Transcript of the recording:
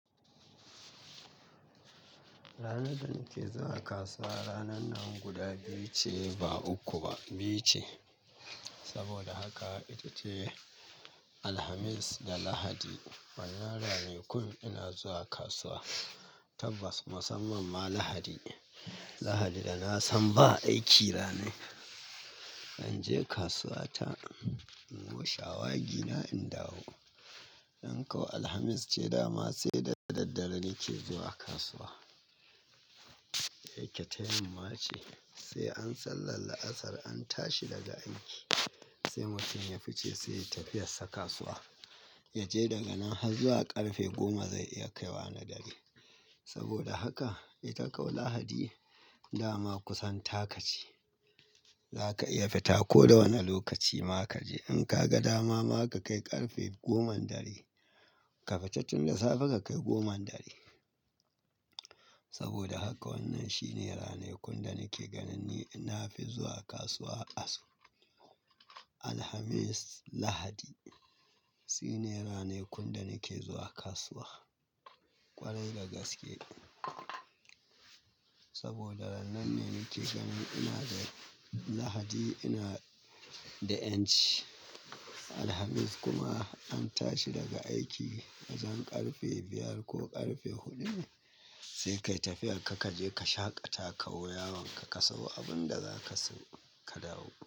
Ranar da nake zuwa kasuwa, ranan nan guda biyu ce ba uku ba, biyu ce. Saboda haka ita ce Alhamis da Lahadi. Wane ranar ne kullum ina zuwa kasuwa. Tabbas, musamman ma Lahadi. Lahadi da na san ba aiki ranan in je kasuwa ta in go shawagi na in dawo. In ko Alhamis ce dama sai da daddare nake zuwa kasuwa. Dake ta yamma ce sai an sallar la'asar an tashi daga aiki sai mutum ya fice sai ya yi tafiyar sa kasuwa. Ya je daga nan har zuwa ƙarfe goma zai iya kaiwa na dare. Saboda haka ita kau Lahadi dama kusan taka ce. Zaka iya fita koda wana lokaci ma kaje in ka ga dama ma ka kai ƙarfe goman dare, ka fita tun da safe ka kai goma na dare. Saboda haka wannan shi ne ranar kun da nake ganin ni na fi zuwa kasuwa asu. Alhamis, Lahadi, sune ranar kunne nake zuwa kasuwa ƙwarai da gaske. Saboda ranan ne nake ganin ina da Lahadi ina da yanci, Alhamis kuma an tashi daga aiki wajen ƙarfe biyar ko ƙarfe hudu sai kayi tafiyar ka kaje kashaƙa ta kawo yawon ka, ka sawo abun da zaka sayo ka dawo.